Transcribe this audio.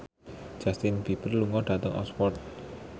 Justin Beiber lunga dhateng Oxford